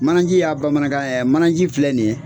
Mananji y'a bamanankan yɛ mananji filɛ nin ye